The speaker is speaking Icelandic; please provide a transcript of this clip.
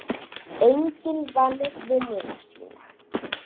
Enginn vann vinnuna sína.